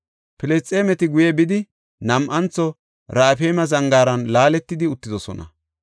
Filisxeemeti guye bidi, nam7antho Raafayme zangaaran laaletidi uttidosona.